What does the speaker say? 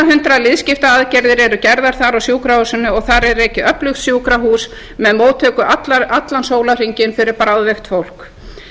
hundrað liðskiptaaðgerðir eru gerðar þar á sjúkrahúsinu og þar er rekið öflugt sjúkrahús með móttöku allan sólarhringinn fyrir bráðveikt fólk